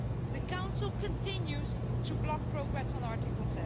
The Council continues to block progress on Article